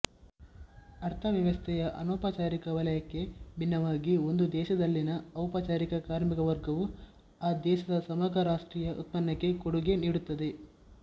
ಅರ್ಥವ್ಯವಸ್ಥೆಯ ಅನೌಪಚಾರಿಕ ವಲಯಕ್ಕೆ ಭಿನ್ನವಾಗಿ ಒಂದು ದೇಶದಲ್ಲಿನ ಔಪಚಾರಿಕ ಕಾರ್ಮಿಕವರ್ಗವು ಆ ದೇಶದ ಸಮಗ್ರ ರಾಷ್ಟ್ರೀಯ ಉತ್ಪನ್ನಕ್ಕೆ ಕೊಡುಗೆ ನೀಡುತ್ತದೆ